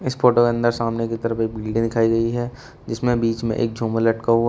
इस फोटो के अंदर सामने की तरफ एक बिल्डिंगे दिखाई गई है जिसमें बीच में एक झूमर लटका हुआ--